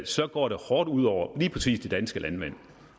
så går det hårdt ud over lige præcis de danske landmænd